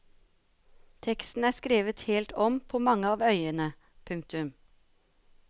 Teksten er skrevet helt om på mange av øyene. punktum